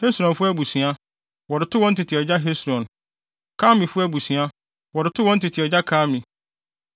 Hesronfo abusua, wɔde too wɔn tete agya Hesron; Karmifo abusua, wɔde too wɔn tete agya Karmi.